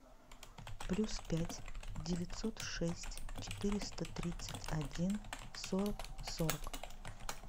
плюс пять девятьсот шесть четыреста тридцать один сорок сорок